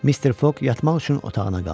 Mister Fog yatmaq üçün otağına qalxdı.